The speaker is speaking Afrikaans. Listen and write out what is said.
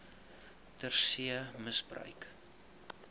ter see misbruik